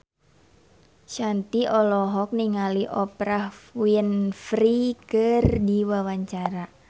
Shanti olohok ningali Oprah Winfrey keur diwawancara